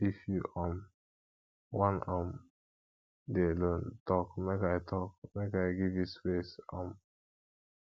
if you um wan um dey alone tok make i tok make i give you space um